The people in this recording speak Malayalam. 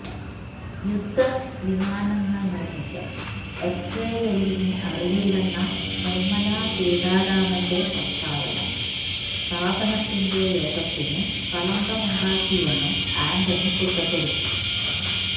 യുദ്ധവിമാനങ്ങള് നിര്മിക്കാന് എച്ച്എഎല്ലിന് അറിയില്ലെന്ന നിര്മല സീതാരാമന്റെ പ്രസ്താവന സ്ഥാപനത്തിന്റെ യശസിന് കളങ്കമുണ്ടാക്കിയെന്നും ആന്റണി കുറ്റപ്പെടുത്തി